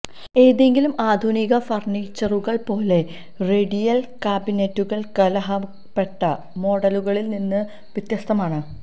ഏതെങ്കിലും ആധുനിക ഫർണിച്ചറുകൾ പോലെ റേഡിയൽ കാബിനറ്റുകൾ കാലഹരണപ്പെട്ട മോഡലുകളിൽ നിന്ന് വ്യത്യസ്തമാണ്